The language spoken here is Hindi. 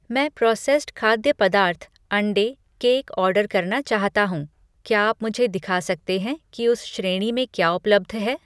मैं प्रोसेस्ड खाद्य पदार्थ, अंडे, केक ऑर्डर करना चाहता हूँ, क्या आप मुझे दिखा सकते हैं कि उस श्रेणी में क्या उपलब्ध है?